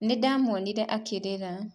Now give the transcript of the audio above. Nĩ ndaamuonire akĩrĩra.